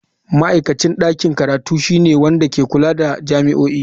Ma'aikacin ɗakin karatu shine wanda ke kula da jami'o'i.